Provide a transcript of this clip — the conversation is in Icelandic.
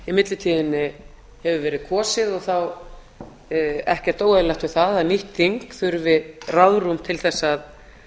í millitíðinni hefur verið kosið og er ekkert óeðlilegt við það að nýtt þing þurfi ráðrúm til